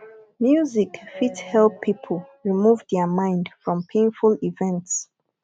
music fit help pipo remove their mind from painful events